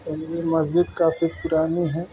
और यह मस्जिद काफी पुरानी है।